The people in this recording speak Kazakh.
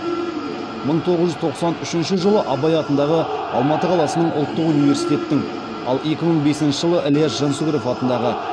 мың тоғыз жүз тоқсан үшінші жылы абай атындағы алматы қаласының ұлттық университеттің ал екі мың бесінші жылы ілияс жансүгіров атындағы